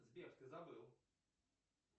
сбер ты забыл